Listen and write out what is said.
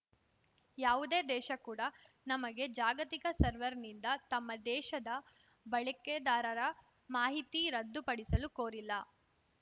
ಯಾವುದೇ ದೇಶ ಕೂಡಾ ನಮಗೆ ಜಾಗತಿಕ ಸರ್ವರ್‌ನಿಂದ ತಮ್ಮ ದೇಶದ ಬಳಕೆದಾರರ ಮಾಹಿತಿ ರದ್ದುಪಡಿಸಲು ಕೋರಿಲ್ಲ